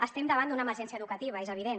estem davant d’una emergència educativa és evident